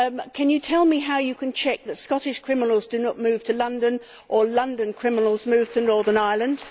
Can you tell me how you can check that Scottish criminals do not move to London or London criminals move to Northern Ireland?